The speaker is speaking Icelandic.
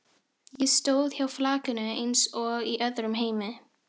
Ég stóð hjá flakinu eins og í öðrum heimi.